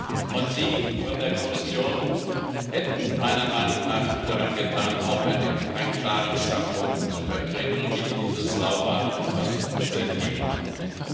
Und Sie von der Kommission hätten meiner Meinung nach gut daran getan, auch einen klaren Standpunkt zu vertreten und nicht dieses Lauwarme, was uns entgegenkommt.